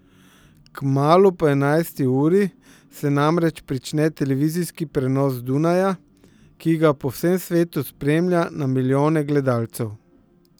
Kmalu po enajsti uri se namreč prične televizijski prenos z Dunaja, ki ga po vsem svetu spremlja na milijone gledalcev.